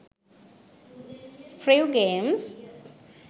friv games